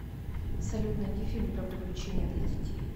салют найди фильм про приключения для детей